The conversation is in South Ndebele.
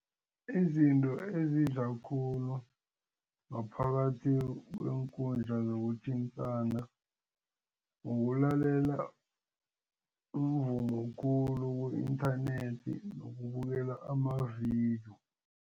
Izinto ezidla khulu ngaphakathi kweenkundla zokuthintana ukulalela umvumo khulu ku-inthanethi nokubukela amavidiyo.